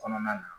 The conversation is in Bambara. Kɔnɔna na